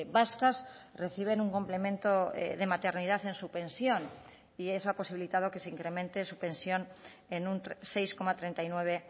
vascas reciben un complemento de maternidad en su pensión y eso ha posibilitado que se incremente su pensión en un seis coma treinta y nueve